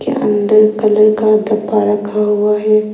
अंदर कलर का डब्बा रखा हुआ है।